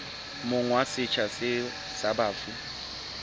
monga setsha seo sa bafu